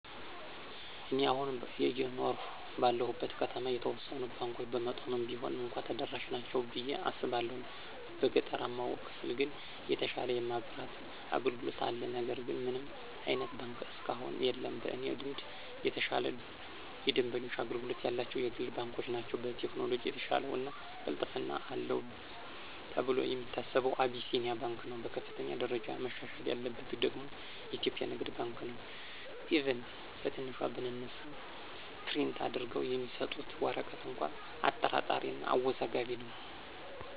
እኔ አሁን አየኖርሁ ባለሁበት ከተማ የተወሰኑት ባንኮች በመጠኑም ቢሆን እንኳ ተደራሽ ናቸው ብየ አስባለሁ። በገጠራማው ክፍል ግን የተሻለ የማብራት አገልግሎት አለ ነገር ግን ምንም አይነት ባንክ እስካሁን የለም። በእኔ ልምድ የተሻለ የደንበኞች አገልግሎት ያላቸው የግል ባንኮች ናቸው። በቴክኖሎጅ የተሻለው እና ቅልጥፍና አለው ተብሎ የሚታሰበው አቢሲንያ ባንክ ነው። በከፍተኛ ደረጃ መሻሻል ያለበት ደግሞ ኢትዮጵያ ንግድ ባንክ ነው፤ ኢቭን ከትንሿ ብንነሳ ፕሪንት አድርገው የሚሰጡት ወረቀት እንኳ አጠራጣሪ እና አወዛጋቢ ነው።